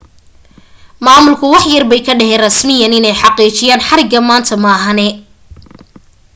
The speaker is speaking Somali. maamulku wax yarbay ka dhaheen rasmiyan inay xaqiijiyeen xariga maanta maahane